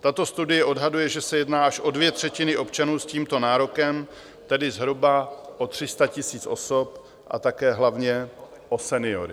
Tato studie odhaduje, že se jedná až o dvě třetiny občanů s tímto nárokem, tedy zhruba o 300 000 osob, a také hlavně o seniory.